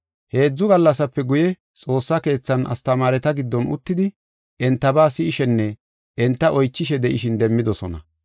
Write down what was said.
Heedzu gallasape guye xoossa keethan astamaareta giddon uttidi entaba si7ishenne enta oychishe de7ishin demmidosona.